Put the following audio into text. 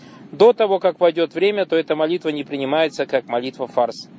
до того как пройдёт время то это молитва не принимается как молитва фарс